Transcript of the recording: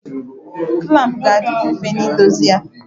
Klampụ ga adịkwụ mfe n'idozi ya.